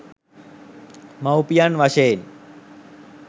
මව්පියන් වශයෙන්